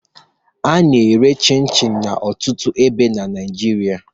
A na-ere chịn chịn n'ọtụtụ ebe na Naịjirịa